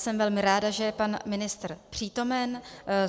Jsem velmi ráda, že je pan ministr přítomen.